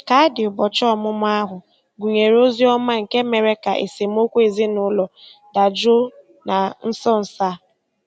Kaadị ụbọchị ọmụmụ ahụ gụnyere ozi ọma nke mere ka esemokwu ezinụlọ dajụọ na nso nso a.